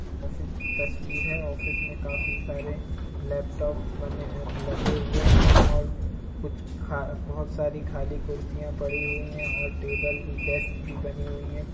office की तस्वीर है ऑफिस में काफी सारे लैपटॉपस बने ऐ लगे हुए हैं और कुछ खा बहुत सारी खाली कुर्सियाँ पड़ी हुई हैं और टेबल भी डेस्क भी बनी हुई है |